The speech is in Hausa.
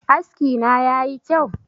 Askina ya yi kyau?